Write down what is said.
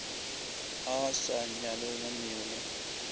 a a sa nyalelanego le